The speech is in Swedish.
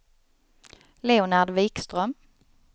Leonard Wikström